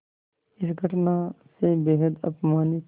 इस घटना से बेहद अपमानित